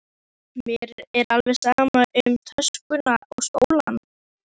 Iss, mér er alveg sama um töskuna og skólann